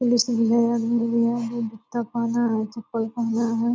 Police जुत्ता पहना है चप्पल पहना है।